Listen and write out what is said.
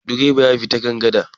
direban ya bi ta kan gada